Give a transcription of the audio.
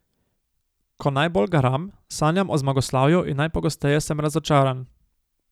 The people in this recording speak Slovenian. Ko najbolj garam, sanjam o zmagoslavju in najpogosteje sem razočaran.